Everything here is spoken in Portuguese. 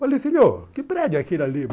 Falei, filhão, que prédio é aquele ali?